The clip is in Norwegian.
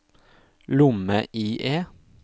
lomme-IE